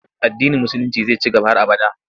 Addinin Musulinci zai ci gaba har abada.